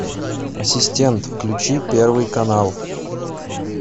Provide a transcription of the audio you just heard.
ассистент включи первый канал